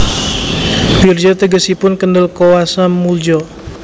Wirja tegesipun kendel koewasa moelja